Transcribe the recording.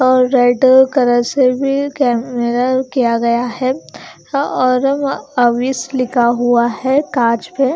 और red colour से भी मिरर किया गया है और वह ऑफिस लिखा हुआ है कांच पे--